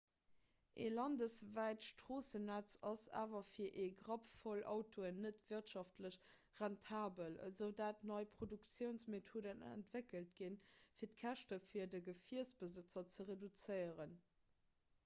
e landeswäit stroossennetz ass awer fir e grappvoll autoen net wirtschaftlech rentabel esoudatt nei produktiounsmethoden entwéckelt ginn fir d'käschte fir de gefierbesëtzer ze reduzéieren